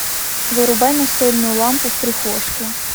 вырубай настольную лампу в прихожке